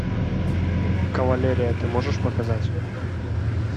кавалерия ты можешь показать